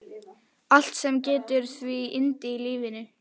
Allt sem gefur því yndi í lífinu.